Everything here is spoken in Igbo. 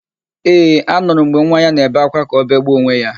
Ee, anụrụ m mgbe nwa ya na-ebe ákwá ka o begbuo onwe ya.